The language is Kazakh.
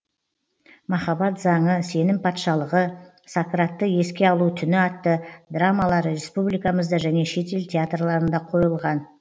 махаббат заңы сенім патшалығы сократты еске алу түні атты драмалары республикамызда және шетел театрларында қойылған